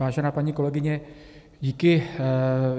Vážená paní kolegyně, díky.